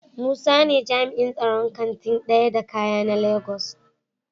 Musa ne jami'in tsaron Kantin daya da kaya na Lagos.